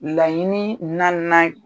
Laɲinii naannan